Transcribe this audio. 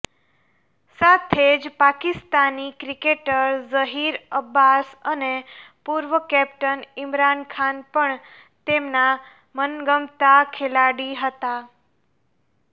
સાથે જ પાકિસ્તાની ક્રિકેટર ઝહીર અબ્બાસ અને પૂર્વ કેપ્ટન ઈમરાનખાન પણ તેમના મનગમતા ખેલાડી હતા